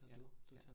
Ja. Ja